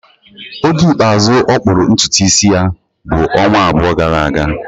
Oge ikpeazụ ọ kpụrụ ntutu isi ya bụ ọnwa abụọ gara aga